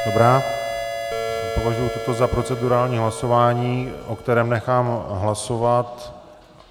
Dobrá, považuji toto za procedurální hlasování, o kterém nechám hlasovat.